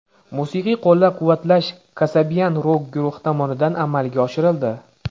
Musiqiy qo‘llab-quvvatlash Kasabian rok-guruhi tomonidan amalga oshirildi.